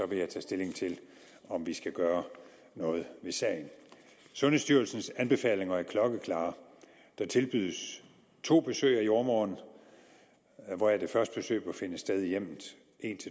vil jeg tage stilling til om vi skal gøre noget ved sagen sundhedsstyrelsens anbefalinger er klokkeklare der tilbydes to besøg af jordemoderen hvoraf det første besøg må finde sted i hjemmet en